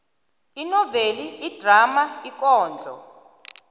inoveli idrama ikondlo